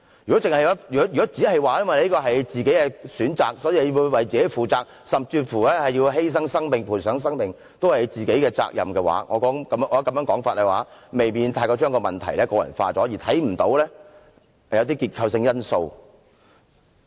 如果只說這是他們的個人選擇，所以要自己負責，甚至是犧牲生命、賠上生命也是他們的責任，我認為這種說法未免把問題過分個人化，而看不到結構性的因素。